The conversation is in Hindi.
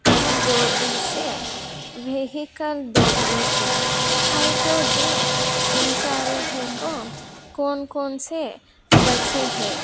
का डोबड़ी से वेहिकल डोबड़ी है है तो जे जिनसारी है को कोन कोन से बची है।